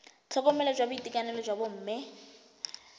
tlhokomelo ya boitekanelo jwa bomme